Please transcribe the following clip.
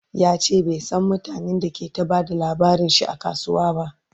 yace bai San mutanen da ke ta Bada labarinshi a kasuwa ba